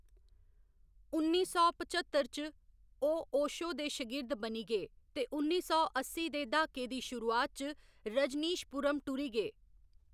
उन्नी सौ पचत्तर च, ओह्‌‌ ओशो दे शगिर्द बनी गे ते उन्नी सौ अस्सी दे द्हाके दी शुरुआत च, रजनीशपुरम टुरी गे।